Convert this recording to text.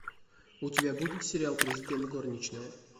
у тебя будет сериал президент горничная